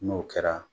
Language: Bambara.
N'o kɛra